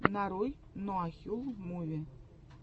нарой нуахюл муви